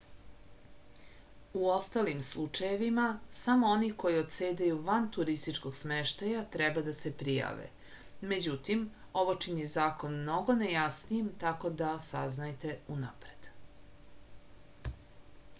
u ostalim slučajevima samo oni koji odsedaju van turističkog smeštaja treba da se prijave međutim ovo čini zakon mnogo nejasnijim tako da saznajte unapred